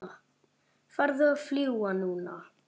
Farðu að fljúga, núna